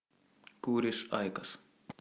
куришь айкос